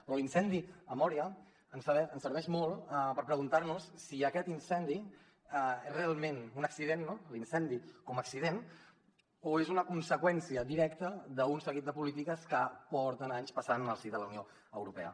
però l’incendi a mória ens serveix molt per preguntar nos si aquest incendi és realment un accident no l’incendi com a accident o és una conseqüència directa d’un seguit de polítiques que porten anys passant en el si de la unió europea